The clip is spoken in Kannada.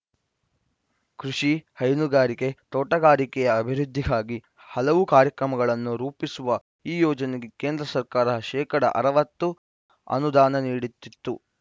ಕೃಷಿ ಹೈನುಗಾರಿಕೆ ತೋಟಗಾರಿಕೆಯ ಅಭಿವೃದ್ಧಿಗಾಗಿ ಹಲವು ಕಾರ್ಯಕ್ರಮಗಳನ್ನು ರೂಪಿಸುವ ಈ ಯೋಜನೆಗೆ ಕೇಂದ್ರ ಸರ್ಕಾರ ಶೇಕಡಾ ಅರವತ್ತು ಅನುದಾನ ನೀಡುತ್ತಿತ್ತು